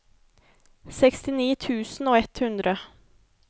sekstini tusen og ett hundre